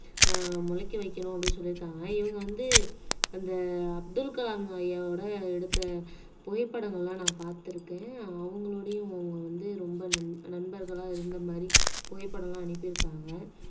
அஹ் முளைக்க வைக்கணும் அப்படின்னு சொல்லியிருக்காங்க இவங்க வந்து அந்த அப்துல் கலாம் ஐயாவோட எடுத்த புகைப்படங்கள் எல்லாம் நான் பார்த்திருக்கேன் அவங்களோடையும் அவங்க வந்து ரொம்ப நண் நண்பர்களா இருந்த மாதிரி புகைப்படம் எல்லாம் அனுப்பி இருக்காங்க